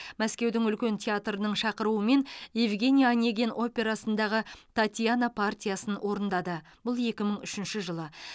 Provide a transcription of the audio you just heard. мәскеудің үлкен театрының шақыруымен евгений онегин операсындағы татьяна партиясын орындады бұл екі мың үшінші жылы